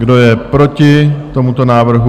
Kdo je proti tomuto návrhu?